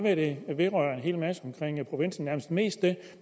at det vedrører en hel masse omkring provinsen nærmest mest det